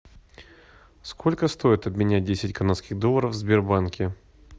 сколько стоит обменять десять канадских долларов в сбербанке